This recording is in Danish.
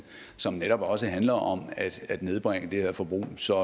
som netop også handler om at nedbringe det her forbrug så